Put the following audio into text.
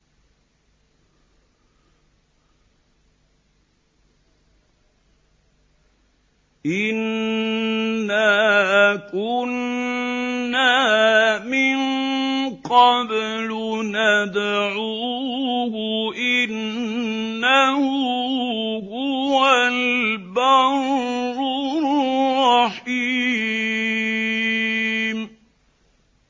إِنَّا كُنَّا مِن قَبْلُ نَدْعُوهُ ۖ إِنَّهُ هُوَ الْبَرُّ الرَّحِيمُ